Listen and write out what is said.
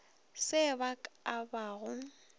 se ba ka ba go